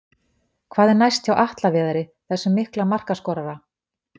Hvað er næst hjá Atla Viðari, þessum mikla markaskorara?